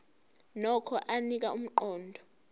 nokho anika umqondo